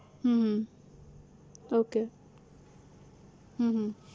હમ okay હમ